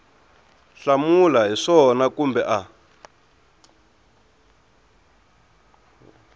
hlamula hi swona kumbe a